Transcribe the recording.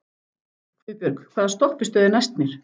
Guðbjörg, hvaða stoppistöð er næst mér?